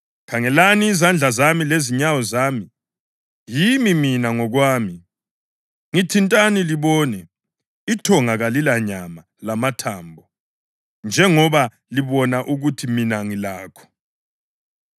Khangelani izandla zami lezinyawo zami. Yimi mina ngokwami! Ngithintani libone; ithonga kalilanyama lamathambo njengoba libona ukuthi mina ngilakho.”